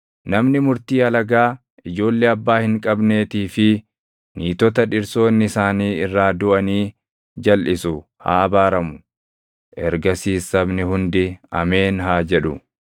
“Namni murtii alagaa, ijoollee abbaa hin qabneetii fi niitota dhirsoonni isaanii irraa duʼanii jalʼisu haa abaaramu.” Ergasiis sabni hundi, “Ameen!” haa jedhu.